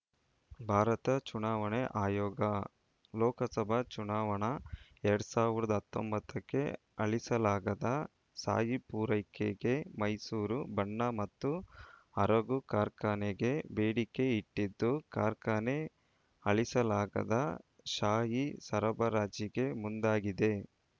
ಭಾರತ ಚುನಾವಣಾ ಆಯೋಗ ಲೋಕಸಭಾ ಚುನಾವಣಾ ಎರಡ್ ಸಾವಿರದ ಹತ್ತೊಂಬತ್ತಕ್ಕೆ ಅಳಿಸಲಾಗದ ಶಾಯಿ ಪೂರೈಕೆಗೆ ಮೈಸೂರು ಬಣ್ಣ ಮತ್ತು ಅರಗು ಕಾರ್ಖಾನೆಗೆ ಬೇಡಿಕೆ ಇಟ್ಟಿದ್ದು ಕಾರ್ಖಾನೆ ಅಳಿಸಲಾಗದ ಶಾಯಿ ಸರಬರಾಜಿಗೆ ಮುಂದಾಗಿದೆ